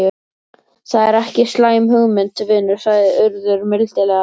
Það er ekki slæm hugmynd, vinur sagði Urður mildilega.